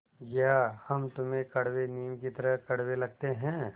या हम तुम्हें कड़वे नीम की तरह कड़वे लगते हैं